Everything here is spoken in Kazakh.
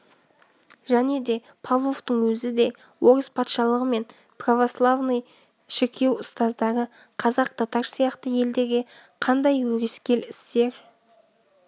және де павловтың өзі де орыс патшалығы мен православный шіркеу ұстаздары қазақ татар сияқты елдерге қандай өрескел істер